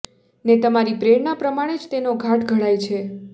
ને તમારી પ્રેરણા પ્રમાણે જ તેનો ઘાટ ઘડાય છે